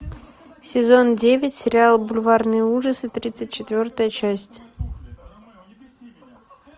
сезон девять сериал бульварные ужасы тридцать четвертая часть